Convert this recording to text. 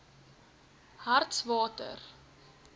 hartswater